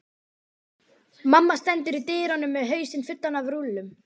Mamma stendur í dyrunum með hausinn fullan af rúllum.